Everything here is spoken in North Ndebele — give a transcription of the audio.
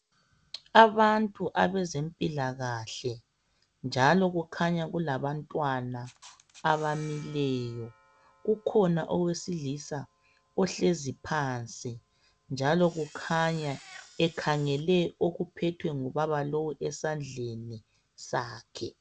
Abantu abezempilakahle njalo kukhanya kulabantwana abamileyo kukhona owesilisa ohlezi phansi njalo kukhanya ekhangele okuphethwe ngubaba lowu esandleni sakhe